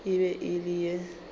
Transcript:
e be e le ye